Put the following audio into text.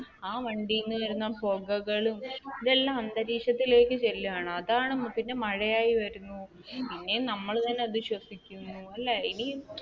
ആ വണ്ടിയിൽ നിന്ന് വരുന്ന പുകകളും ഇതെല്ലം അന്തരീക്ഷത്തിലേക്ക് ചെല്ലുകയാണ് അതാണ് പിന്നെ മഴയായി വരുന്നു പിന്നെ നമ്മൾ തന്നെ അത് ശ്വസിക്കുന്നു അല്ലെ.